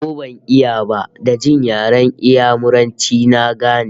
Ko ban iya ba, da jin yaren Inyamuranci na gane